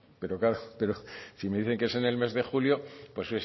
pero claro pero si me dice que es en el mes de julio pues